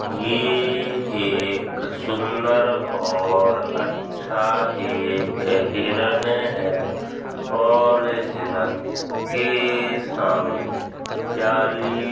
यह एक सुंदर और अच्छा एक हिरन है और हिरण के सामने जाली --